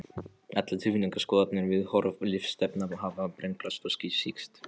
Allar tilfinningar, skoðanir, viðhorf, lífsstefna hafa brenglast og sýkst.